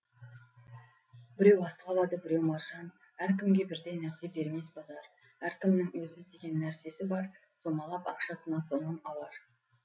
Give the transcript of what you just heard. біреу астық алады біреу маржан әркімге бірдей нәрсе бермес базар әркімнің өзі іздеген нәрсесі бар сомалап ақшасына сонан алар